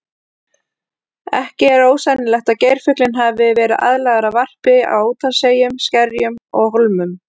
Ekki er ósennilegt að geirfuglinn hafi verið aðlagaður að varpi á úthafseyjum, skerjum og hólmum.